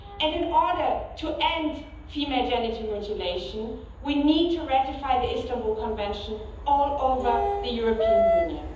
In order to end female genital mutilation, we need to ratify the Istanbul Convention all over the European Union.